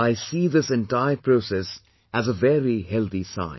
I see this entire process as a very healthy sign